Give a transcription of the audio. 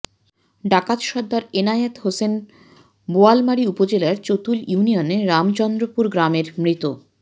ডাকাত সর্দার এনায়েত হোসেন বোয়ালমারী উপজেলার চতুল ইউনিয়নের রামচন্দ্রপুর গ্রামের মৃত